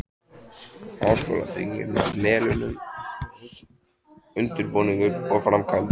Háskólabyggingin á Melunum- undirbúningur og framkvæmdir